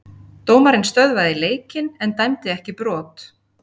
Dómarinn stöðvaði leikinn en dæmdi ekki brot.